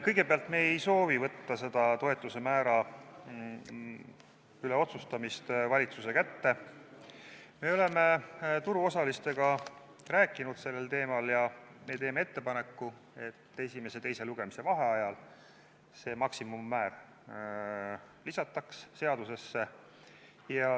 Kõigepealt, me ei soovi võtta seda toetuse määra üle otsustamist valitsuse kätte, me oleme turuosalistega rääkinud sellel teemal ja me teeme ettepaneku, et esimese ja teise lugemise vahel see maksimummäär lisataks seadusesse.